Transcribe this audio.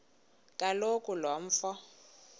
kaloku lo mfo